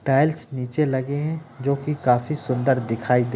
tiles नीचे लगे हैं जो कि काफी सुंदर दिखाई दे--